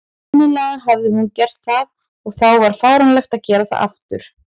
Sennilega hafði hún gert það, og þá var fáránlegt að gera það aftur.